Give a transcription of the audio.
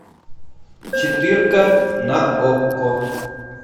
четырка на окко